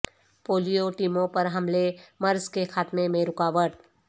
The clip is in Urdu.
پولیو ٹیموں پر حملے مرض کے خاتمے میں رکاوٹ